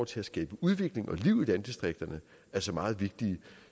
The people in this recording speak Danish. til at skabe udvikling og liv i landdistrikterne altså meget vigtigt